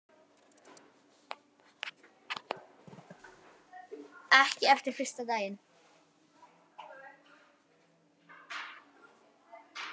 Ekki eftir fyrsta daginn.